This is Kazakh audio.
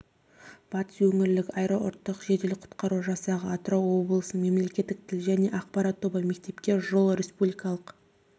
батыс өңірлік аэроұтқыр жедел құтқару жасағы атырау облысының мемлекеттік тіл және ақпарат тобы мектепке жол республикалық